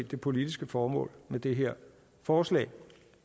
det politiske formål med det her forslag